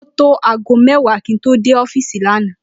Ó tó aago mé̩wàá kí n tó dé ó̩fíìsì lánàá